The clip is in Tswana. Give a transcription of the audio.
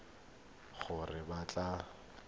e le gore o batla